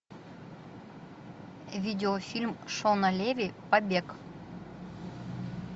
видео фильм шона леви побег